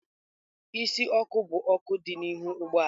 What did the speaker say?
Isi ọkụ bụ ọkụ dị n'ihu ụgbọ ala.